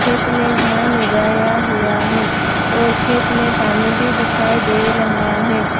खेत में धान उगाया हुआ है और खेत में पानी भी दिखाई दे रहा है।